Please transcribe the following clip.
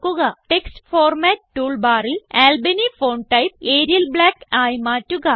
text format tool ബാറിൽ Albany font type Arial black ആയി മാറ്റുക